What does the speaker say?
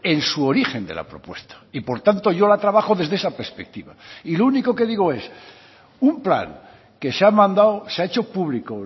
en su origen de la propuesta y por tanto yo la trabajo desde esa perspectiva y lo único que digo es un plan que se ha mandado se ha hecho público